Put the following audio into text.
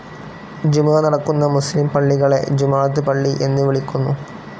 ജുമുഅ നടക്കുന്ന മുസ്‌ലിം പള്ളികളെ ജുമുഅത്ത് പള്ളി എന്നു വിളിക്കുന്നു.